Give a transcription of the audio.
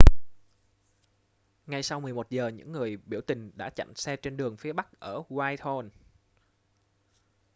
ngay sau 11 giờ những người biểu tình đã chặn xe trên đường phía bắc ở whitehall